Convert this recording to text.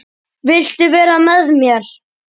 Viltu vera með mér?